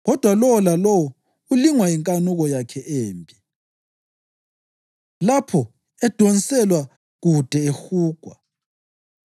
kodwa lowo lalowo ulingwa yinkanuko yakhe embi, lapho edonselwa kude ehugwa.